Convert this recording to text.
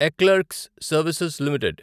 eClerx services limited